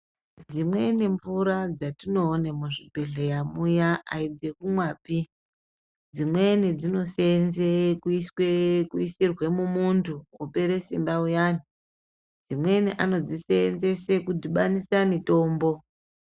Dzimweni mvura dzatinoone muzvibhedhlera muya aidzekumwapi dzimweni dzinoseenze kuisirwe mumuntu opera simba uyani dzimweni anodziseenzese kudhibanisa mitombo .